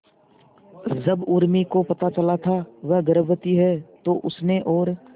जब उर्मी को पता चला था वह गर्भवती है तो उसने और